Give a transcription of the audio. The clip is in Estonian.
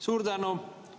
Suur tänu!